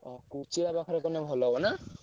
ଅ କୋଚିଳା ପାଖରେ କଲେ ଭଲ ହବ ନା?